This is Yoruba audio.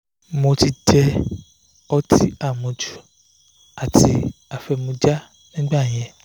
mo ti jẹ́ ọtí àmujù àti afẹ́mujà ní ìgbà yẹn